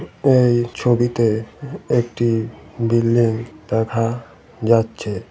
এই ছবিতে একটি বিল্ডিং দেখা যাচ্ছে।